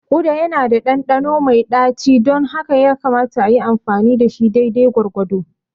Uda yana da ɗanɗano mai ɗaci don haka yakamata a yi amfani da shi daidai gwargwado.